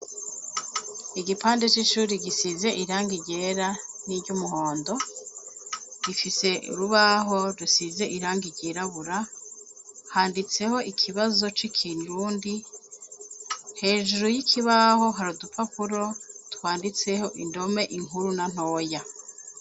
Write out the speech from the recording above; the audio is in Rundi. Igipande c'ishure gisize irangi ryera n'iry'umuhondo gifise urubaho rusize irangi ryirabura handitseho ikibazo c'ikirundi hejuru y'ikibaho hari udupapuro twanditseko indome inkuru na ntoya.